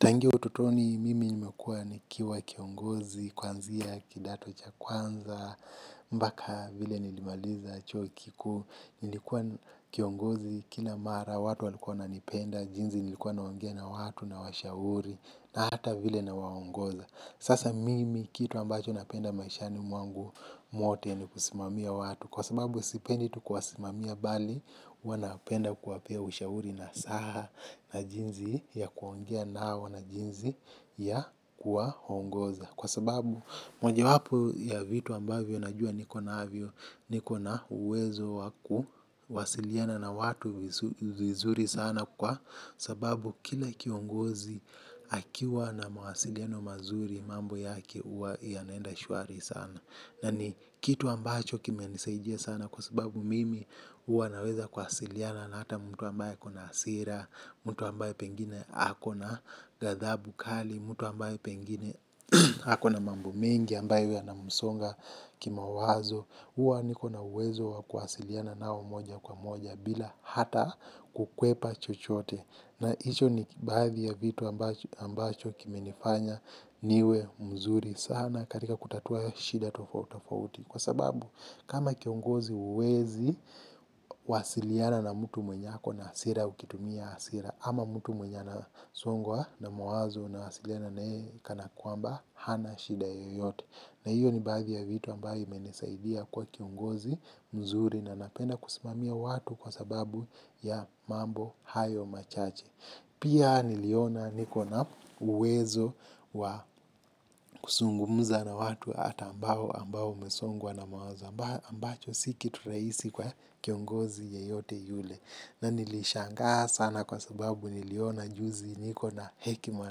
Tangia ututoni mimi nimekua nikiwa kiongozi, kuanzia, kidato cha kwanza, mpaka vile nilimaliza chuo kikuu, nilikuwa kiongozi, kila mara, watu walikuwa wananipenda, jinsi nilikuwa naongea na watu nawashauri, na hata vile nawangoza. Sasa mimi kitu ambacho napenda maishani mwangu mwote ni kusimamia watu kwa sababu sipendi tu kuwasimamia bali huwa napenda kuwapea ushauri nasaha na jinsi ya kuongea nao na jinsi ya kuwaongoza. Kwa sababu moja wapo ya vitu ambavyo najua niko na uwezo wa kuwasiliana na watu vizuri sana kwa sababu kila kiongozi akiwa na mawasiliano mazuri mambo yake huwa ianaenda shwari sana. Na ni kitu ambacho kimenisaidia sana sababu mimi huwa naweza kuwasiliana na hata mtu ambaye ako na hasira mtu ambaye pengine ako na ghathabu kali mtu ambae pengine ako na mambo mengi ambayo yanamsonga kimawazo huwa niko na uwezo wa kuwasiliana nao moja kwa moja bila hata kukwepa chochote. Na hicho ni baadhi ya vitu ambacho kimenifanya niwe mzuri sana katika kutatua shida tofautafauti. Kwa sababu kama kiongozi uwezi wasiliana na mtu mwenye ako na hasira ukitumia asira. Ama mtu mwenye anasongwa na mawazo unawasiliana naye kana kwamba hana shida yoyote. Na hiyo ni baadhi ya vitu ambayo imenisaidia kuwa kiongozi mzuri na napenda kusimamia watu kwa sababu ya mambo hayo machache. Pia niliona niko na uwezo wa kuzungumuza na watu ata ambao ambao wamesongwa na mawazo ambacho si kitu rahisi kwa kiongozi yeyote yule. Na nilishangaa sana kwa sababu niliona juzi niko na hekima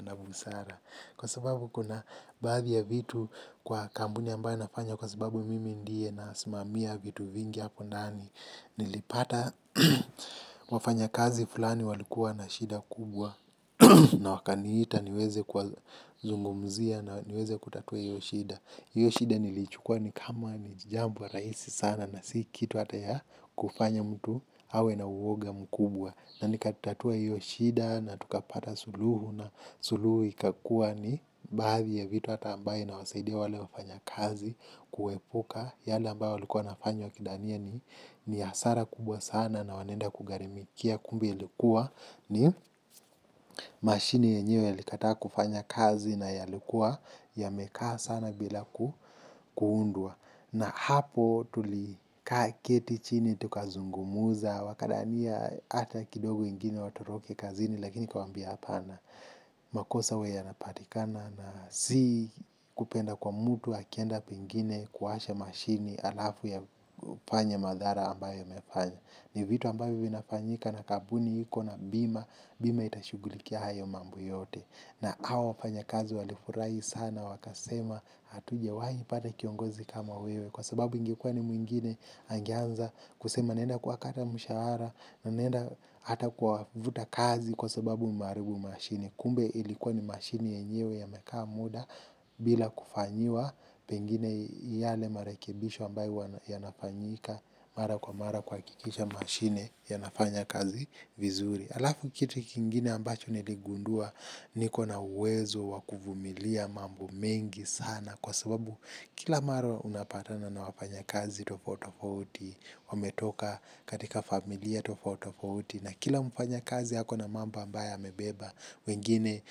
na busara. Kwa sababu kuna baadhi ya vitu kwa kambuni ambaye nafanya kwa sababu mimi ndiye nasimamia vitu vingi hapo ndani. Nilipata wafanyakazi fulani walikuwa na shida kubwa na wakaniita niweze kuwazungumzia na niweze kutatua iyo shida. Iyo shida nilichukua ni kama ni jambo rahisi sana na si kitu hata ya kufanya mtu awe na uwoga mkubwa. Na nikatatua iyo shida na tukapata suluhu na suluhu ikakua ni baadhi ya vitu hata ambaye inawasaidia wale wafanyakazi kuepuka yale ambayo walikua wanafanya wakidhania ni hasara kubwa sana na wanaenda kugharimikia kumbe ilikuwa ni mashine yenyeo yalikataa kufanya kazi na yalikuwa yamekaa sana bila kuundwa. Na hapo tulikaa keti chini tukazungumuza wakadhania ata kidogo ingine watoroke kazini lakini nikawaambia apana. Makosa huwa yanapatikana na si kupenda kwa mtu akienda pengine kuwasha mashine halafu afanye madhara ambayo amefanya. Ni vitu ambavyo vinafanyika na kampuni iko na bima, bima itashugulikia hayo mambo yote. Na hawa wafanyakazi walifurahi sana wakasema hatujawahi pata kiongozi kama wewe. Kwa sababu ingekuwa ni mwingine angeanza kusema naenda kuwakata mshahara, naenda hata kuwavuta kazi kwa sababu mmeharibu mashini. Kumbe ilikuwa ni mashini yenyewe yamekaa muda bila kufanyiwa pengine yale marekibisho ambayo huwa yanafanyika mara kwa mara kuhakikisha mashine yanafanya kazi vizuri. Alafu kitu kingine ambacho niligundua niko na uwezo wa kuvumilia mambo mengi sana kwa sababu kila mara unapatana na wafanyakazi tofuati tofauti, wametoka katika familia tofauti tofauti na kila mfanyakazi ako na mambo ambaye amebeba wengine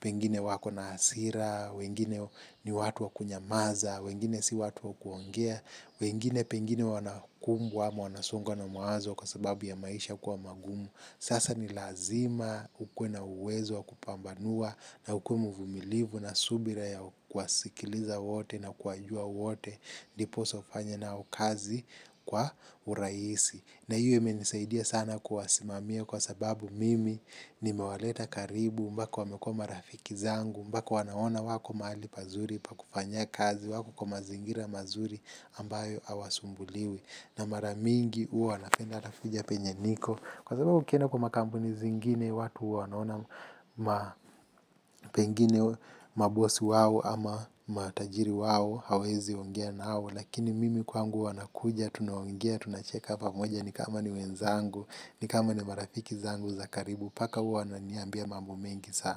pengine wako na hasira wengine ni watu wa kunyamaza wengine si watu wa kuongea wengine pengine wanakumbwa ama wanasongwa na mawazo kwa sababu ya maisha kuwa magumu sasa ni lazima ukuwe na uwezo wa kupambanua na ukuwe mvumilivu na subira ya kuwasikiliza wote na kuwajua wote. Ndiposa ufanye nao kazi kwa uraisi. Na hiyo imenisaidia sana kuwasimamia kwa sababu mimi nimewaleta karibu mpaka wamekua marafiki zangu mpaka wanaona wako mahali pazuri pa kufanyia kazi wako kwa mazingira mazuri ambayo hawasumbuliwi. Na mara mingi huwa wanapenda atakuja penye niko. Kwa sababu ukienda kwa makampuni zingine watu uwa wanaona. Ma pengine mabosi wao ama matajiri wao hawezi ongea nao lakini mimi kwangu wanakuja, tunaongea, tunacheka pamoja ni kama ni wenzangu, ni kama ni marafiki zangu za karibu, mpaka uwa wananiambia mambo mengi sana.